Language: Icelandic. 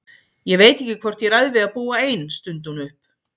Ég veit ekki hvort ég ræð við að búa ein, stundi hún upp.